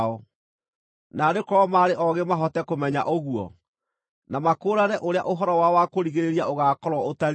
Naarĩ korwo maarĩ oogĩ mahote kũmenya ũguo na makũũrane ũrĩa ũhoro wao wa kũrigĩrĩria ũgaakorwo ũtariĩ!